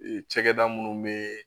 Ee cakɛda munnu bee